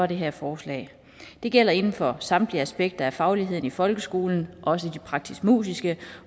det her forslag det gælder inden for samtlige aspekter af fagligheden i folkeskolen også de praktisk musiske